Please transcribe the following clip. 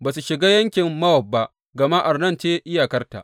Ba su shiga yankin Mowab ba, gama Arnon ce iyakarta.